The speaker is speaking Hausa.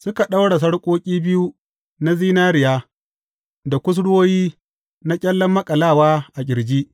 Suka ɗaura sarƙoƙi biyu na zinariya da kusurwoyi na ƙyallen maƙalawa a ƙirji.